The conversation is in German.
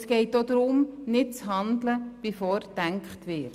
Es geht auch darum, nicht zu handeln, bevor gedacht wird.